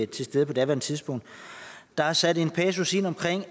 til stede på daværende tidspunkt der er sat en passus ind om